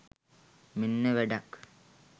මෙන්න වැඩක්